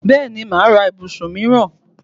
Bẹ́ẹ̀ni, máà ra ibùsùn míìràn